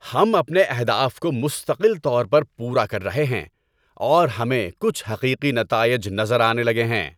ہم اپنے اہداف کو مستقل طور پر پورا کر رہے ہیں، اور ہمیں کچھ حقیقی نتائج نظر آنے لگے ہیں۔